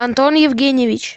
антон евгеньевич